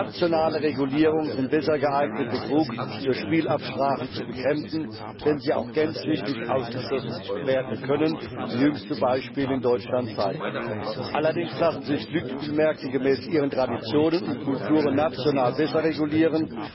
Nationale Regulierungen sind besser geeignet, Betrug durch Spielabsprachen zu bekämpfen, auch wenn diese nicht gänzlich ausgeschlossen werden können, wie jüngste Beispiele in Deutschland zeigen. Allerdings lassen sich Glücksspielmärkte gemäß ihren Traditionen und Kulturen national besser regulieren.